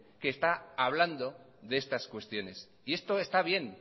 que está hablando de estas cuestiones y esto está bien